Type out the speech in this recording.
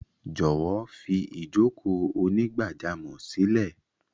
Jọ̀wọ́ fi ìjókòó onígbájámò sílẹ̀!